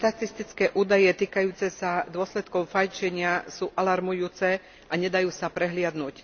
Štatistické údaje týkajúce sa dôsledkov fajčenia sú alarmujúce a nedajú sa prehliadnuť.